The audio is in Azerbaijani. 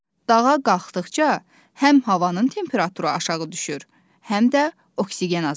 Dağa qalxdıqca həm havanın temperaturu aşağı düşür, həm də oksigen azalır.